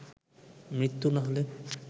মৃত্যু না হলে